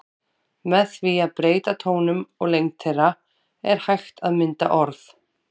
Með því að breyta tónum og lengd þeirra er hægt að mynda orð.